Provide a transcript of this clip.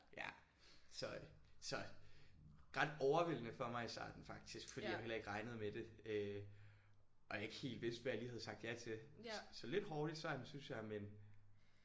Ja. Så øh så ret overvældende for mig i starten faktisk fordi jeg heller ikke regnede med det øh og jeg ikke helt vidste hvad jeg lige havde sagt ja til. Så lidt hårdt i starten synes jeg men